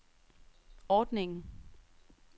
ordningen